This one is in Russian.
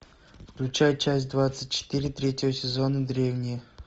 включай часть двадцать четыре третьего сезона древние